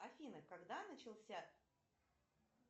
афина когда начался